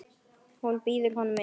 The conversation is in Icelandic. Hún býður honum inn.